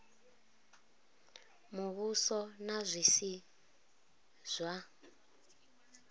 muvhuso na zwi si zwa